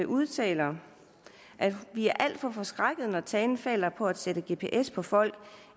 udtaler at vi er alt for forskrækkede når talen falder på at sætte gps på folk